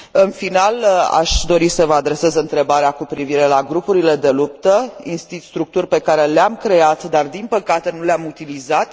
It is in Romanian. În final, aș dori să vă adresez întrebarea cu privire la grupurile de luptă, structuri pe care le am creat dar, din păcate, nu le am utilizat.